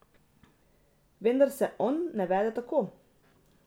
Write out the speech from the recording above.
Vendar se on ne vede tako.